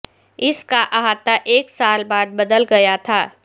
اس کا احاطہ ایک سال بعد بدل گیا تھا